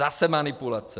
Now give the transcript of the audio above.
Zase manipulace.